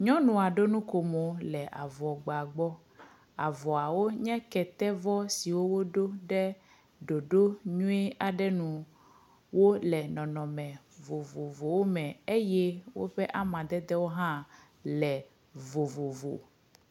Nyɔnua ɖo nukomo ɖe avɔ gba gba gbɔ. Avɔawo nye kɛte vɔ siwo woɖo ɖe ɖoɖo nyui aɖe nu. wole nɔnɔme vovovowo eye woƒe amadedewo hã le vovovo.